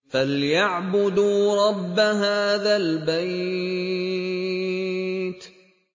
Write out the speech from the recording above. فَلْيَعْبُدُوا رَبَّ هَٰذَا الْبَيْتِ